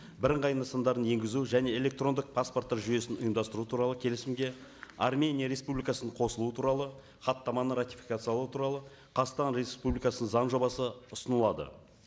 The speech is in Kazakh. бірыңғай нысандарын енгізу және электрондық паспорттар жүйесін ұйымдастыру туралы келісімге армения республикасының қосылуы туралы хаттаманы ратификациялау туралы қазақстан республикасы заң жобасы ұсынылады